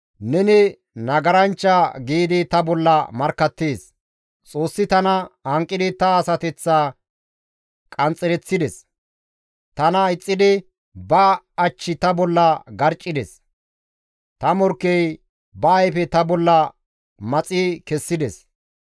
Xoossi tana hanqidi ta asateththa qanxxereththides; tana ixxidi ba ach ta bolla garccides; ta morkkey ba ayfe ta bolla maxi kessides.